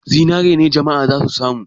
Zinare ne jama'a za su samu.